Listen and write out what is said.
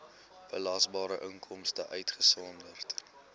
belasbare inkomste uitgesonderd